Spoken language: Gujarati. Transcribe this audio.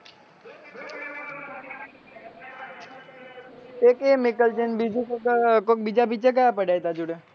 એક એ મેક્લ્જે અને બીજા ક્યાં picture પડ્યા હી તારી જોડે